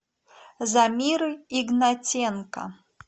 замиры игнатенко